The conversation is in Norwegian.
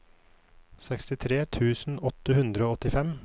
sekstitre tusen åtte hundre og åttifem